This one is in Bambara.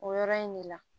O yɔrɔ in de la